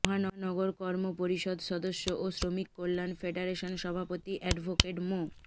মহানগর কর্ম পরিষদ সদস্য ও শ্রমিক কল্যান ফেডারেশন সভাপতি এ্যডভোকেট মো